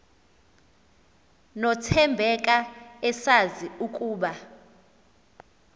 nothembeka esazi ukuba